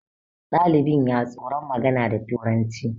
dalinbin ya tsoron magana da turanci